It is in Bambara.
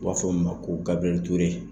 U b'a fɔ min ma ko GBIRIYƐLI TURE.